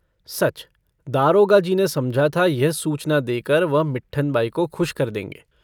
सच दारोगाजी ने समझा था यह सूचना देकर वह मिट्ठन बाई को खुश कर देंगे।